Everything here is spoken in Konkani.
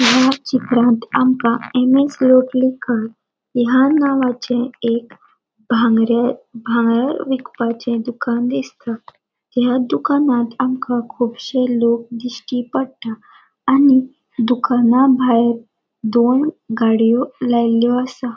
या चित्रान आमका एम एस लोटलीकर या नावाचे एक भांगरे भांगर विकपाचे दुकान दिसता या दुकानात आमका कुबशे लोक दिष्टी पट्टा आणि दुकाना भायर दोन गाड़ियों लायल्यो आसा.